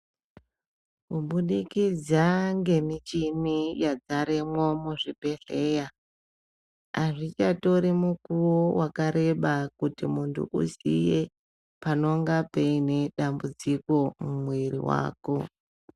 Kubudikidza ngemichini yadzaremwo muzvibhedhlera, azvichatori mukuwo wakareba kuti muntu uziye panonga paine dambudziko mumwiri wako.